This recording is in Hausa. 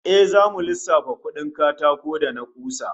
To zamu lissafa kudin katakon da na kusa